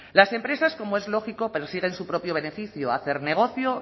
las empresas como es lógico persiguen su propio beneficio hacer negocio